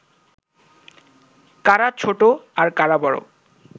কারা ছোট আর কারা বড়